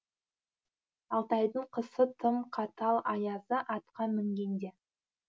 алтайдың қысы тым қатал аязы атқа мінгенде